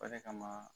O de kama